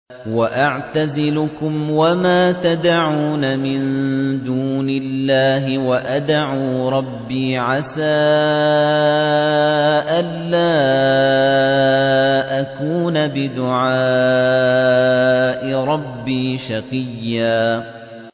وَأَعْتَزِلُكُمْ وَمَا تَدْعُونَ مِن دُونِ اللَّهِ وَأَدْعُو رَبِّي عَسَىٰ أَلَّا أَكُونَ بِدُعَاءِ رَبِّي شَقِيًّا